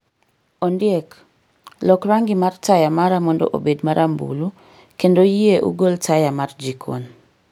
Ondiek loko rangi mar taya mara mondo obed marambulu, kendo yie ugol taya mar jikon